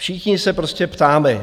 Všichni se prostě ptáme.